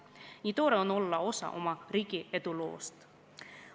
Nii tore on olla osa oma riigi eduloost.